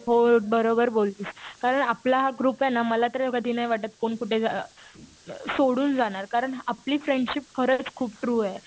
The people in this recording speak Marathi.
हो बरोबर बोललीस. कारण आपला हा ग्रुप आहे ना मला तर कधी नाही वाटतं कोण कुठे सोडून जाणार. कारण आपली फ्रेंडशिप खरंच खूप ट्रू आहे.